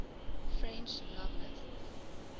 french novelists